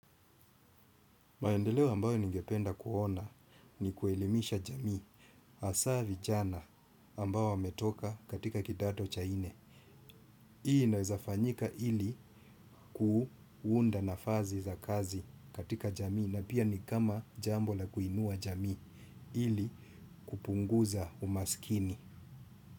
Maendeleo ambayo ningependa kuona ni kuelimisha jamii. Asaa vichana ambao wametoka katika kidato cha nne. Hii inaweza fanyika ili kuunda nafazi za kazi katika jamii. Na pia ni kama jambo la kuinua jamii ili kupunguza umaskini.